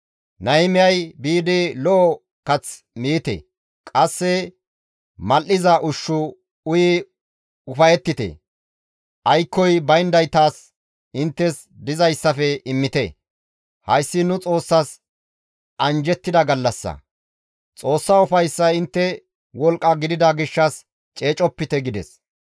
Nahimiyay, «Biidi lo7o kath miite; qasse mal7iza ushshu uyi ufayettite; aykkoy bayndaytas inttes dizayssafe immite; hayssi nu Xoossas anjjettida gallassa; Xoossa ufayssay inttes wolqqa gidida gishshas ceecopite» gides.